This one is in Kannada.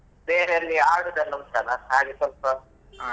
ಬೇರೆ ಎಲ್ಲಿಯ ಆಡುದೆಲ್ಲ ಉಂಟಲ್ಲ ಹಾಗೆ ಸ್ವಲ್ಪ ಹ.